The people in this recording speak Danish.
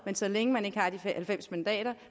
så længe man ikke har de halvfems mandater